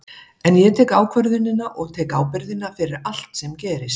En ég tek ákvörðunina og tek ábyrgðina fyrir allt sem gerist.